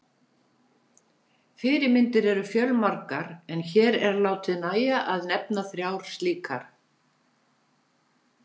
Fyrirmyndir eru fjölmargar en hér er látið nægja að nefna þrjár slíkar.